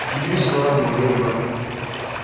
Njui nĩ ciroragirwo nĩ thuraku